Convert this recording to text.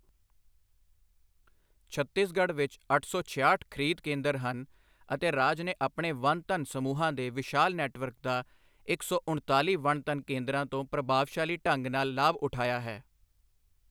ਛੱਤੀਸਗੜ੍ਹ ਵਿਚ ਅੱਠ ਸੌ ਛਿਆਹਠ ਖ੍ਰੀਦ ਕੇਂਦਰ ਹਨ ਅਤੇ ਰਾਜ ਨੇ ਆਪਣੇ ਵਨ ਧਨ ਸਮੂਹਾਂ ਦੇ ਵਿਸ਼ਾਲ ਨੈੱਟਵਰਕ ਦਾ ਇੱਕ ਸੌ ਉਣਤਾਲੀ ਵਨ ਧਨ ਕੇਂਦਰਾਂ ਤੋਂ ਪ੍ਰਭਾਵਸ਼ਾਲੀ ਢੰਗ ਨਾਲ ਲਾਭ ਉਠਾਇਆ ਹੈ।